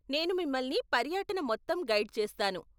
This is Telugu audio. నేను మిమల్ని పర్యటన మొత్తం గైడ్ చేస్తాను.